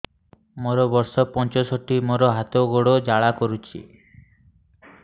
ମୋର ବର୍ଷ ପଞ୍ଚଷଠି ମୋର ହାତ ଗୋଡ଼ ଜାଲା କରୁଛି